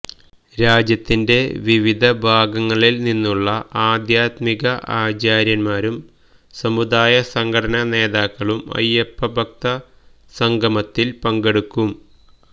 രാജ്യത്തിന്റെ വിവിധ ഭാഗങ്ങളില് നിന്നുള്ള ആദ്ധ്യാത്മിക ആചാര്യന്മാരും സമുദായ സംഘടനാ നേതാക്കളും അയ്യപ്പഭക്ത സംഗമത്തില് പങ്കെടുക്കും